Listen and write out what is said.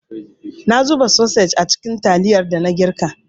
Na zuba sosej a cikin taliyar dana girka.